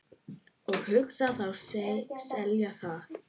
Og hugðust þá selja það.